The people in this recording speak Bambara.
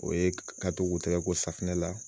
O ye ka to tɛgɛ ko safinɛ la